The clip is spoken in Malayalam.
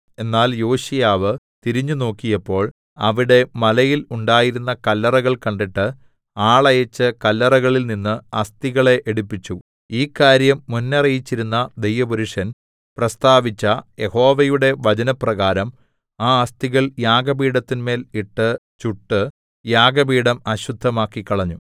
എന്നാൽ യോശീയാവ് തിരിഞ്ഞുനോക്കിയപ്പോൾ അവിടെ മലയിൽ ഉണ്ടായിരുന്ന കല്ലറകൾ കണ്ടിട്ട് ആളയച്ച് കല്ലറകളിൽ നിന്ന് അസ്ഥികളെ എടുപ്പിച്ചു ഈ കാര്യം മുന്നറിയിച്ചിരുന്ന ദൈവപുരുഷൻ പ്രസ്താവിച്ച യഹോവയുടെ വചനപ്രകാരം ആ അസ്ഥികൾ യാഗപീഠത്തിന്മേൽ ഇട്ട് ചുട്ട് യാഗപീഠം അശുദ്ധമാക്കിക്കളഞ്ഞു